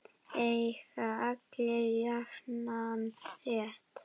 Eiga allir jafnan rétt?